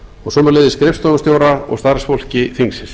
og sömuleiðis skrifstofustjóra og starfsfólki þingsins